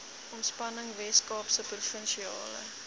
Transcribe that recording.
ontspanning weskaapse provinsiale